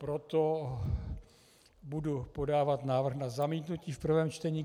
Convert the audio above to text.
Proto budu podávat návrh na zamítnutí v prvém čtení.